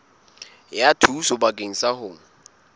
ya thuso bakeng sa ho